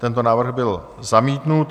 Tento návrh byl zamítnut.